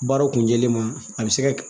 Baaraw kun jɛlen ma a bɛ se ka